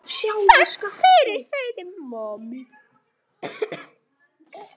Takk fyrir, sagði mamma.